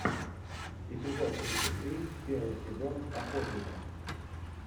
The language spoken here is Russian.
эпизод тридцать три первый сезон охотника